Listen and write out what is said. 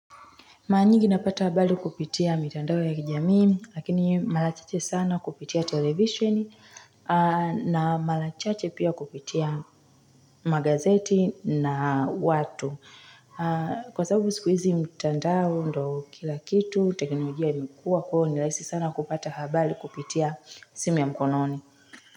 Mara nyingi napata habari kupitia mitandao ya kijamii, lakini mara chache sana kupitia televishieni, na mara chache pia kupitia magazeti na watu. Kwa sababu siku hizi mitandao ndo kilakitu, tekinolojia imekuwa kwa hio, nirahisi sana kupata habali kupitia simu ya mkononi.